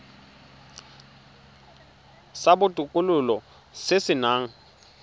sa botokololo se se nang